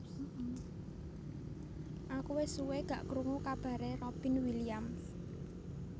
Aku wes suwe gak krungu kabare Robin Williams